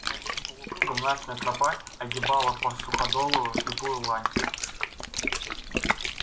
большим полукругом настина тропа огибала по суходолу слепую лань